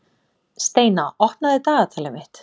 Steina, opnaðu dagatalið mitt.